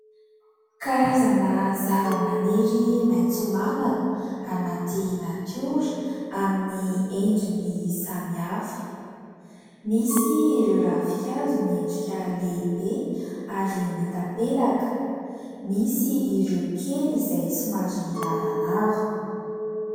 Karazana zavamaniry maitso mavana anaty natiora amin'ny endriny samihafa. Misy ireo ravinkazo miendrika lehibe ary mitapelaka. Misy ireo kely izay somary lavalava.